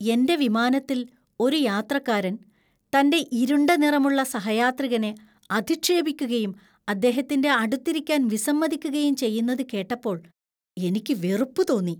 എന്‍റെ വിമാനത്തിൽ ഒരു യാത്രക്കാരൻ തന്‍റെ ഇരുണ്ട നിറമുള്ള സഹയാത്രികനെ അധിക്ഷേപിക്കുകയും അദ്ദേഹത്തിന്‍റെ അടുത്തിരിക്കാൻ വിസമ്മതിക്കുകയും ചെയ്യുന്നത് കേട്ടപ്പോൾ എനിക്ക് വെറുപ്പ് തോന്നി .